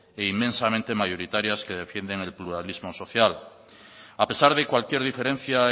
e inmensamente mayoritarias que defienden el plurales social a pesar de cualquier diferencia